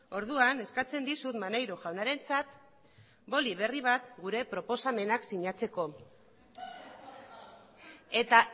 orduan eskatzen dizut maneiro jaunarentzat boli berri bat gure proposamenak sinatzeko eta